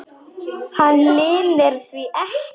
Hann leynir því ekki.